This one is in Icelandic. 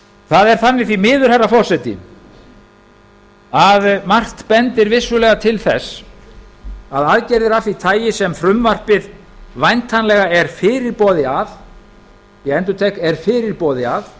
það er þannig því miður herra forseti að margt bendir vissulega til þess að aðgerðir af því tagi sem frumvarpið væntanlega er fyrirboði ég endurtek er fyrirboði að